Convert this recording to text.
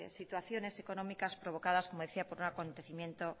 situaciones económicas provocadas como decía por un acontecimiento